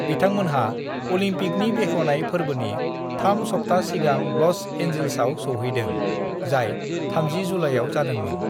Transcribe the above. "बिथांमोनहा अलिम्पिकनि बेखेवनाय फोरबोनि थाम सब्था सिगां ल'स एन्जिल्सआव सौहैदों, जाय 30 जुलाइआव जादोंमोन।"